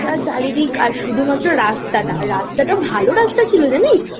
দিক আর শুধুমাত্র রাস্তা টা রাস্তা টা ভালো রাস্তা ছিল জানিস